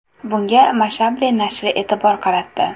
Bunga Mashable nashri e’tibor qaratdi .